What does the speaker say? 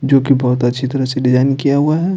जो कि बहुत अच्छी तरह से डिजाइन किया हुआ है।